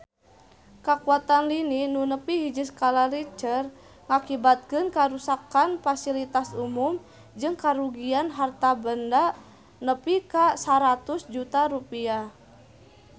Kakuatan lini nu nepi hiji skala Richter ngakibatkeun karuksakan pasilitas umum jeung karugian harta banda nepi ka 100 juta rupiah